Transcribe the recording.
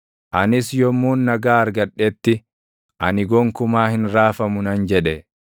Anis yommuun nagaa argadhetti, “Ani gonkumaa hin raafamu” nan jedhe.